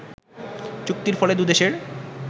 চুক্তির ফলে দু দেশের